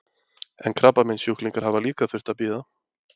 En krabbameinssjúklingar hafa líka þurft að bíða?